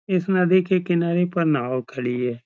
इस नदी के किनारे पर नाव खड़ी है |